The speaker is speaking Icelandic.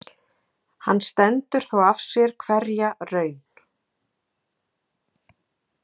En hann stendur þó af sér hverja raun.